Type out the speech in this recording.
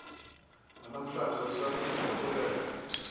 nanamhlanje usamile ndiyabulela